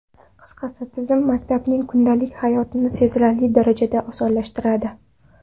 Qisqasi, tizim maktabning kundalik hayotini sezilarli darajada osonlashtiradi.